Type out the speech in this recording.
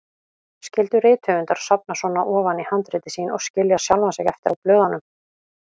Skyldu rithöfundar sofna svona ofan í handrit sín og skilja sjálfa sig eftir á blöðunum?